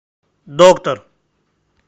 доктор